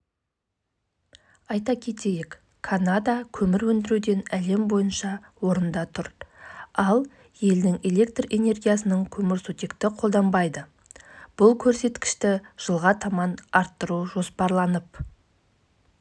суының ластануын азайтуға мүмкіндік береді болашақта биогаздан экологиялық таза электр және жылу энергиясын алу жоспарлануда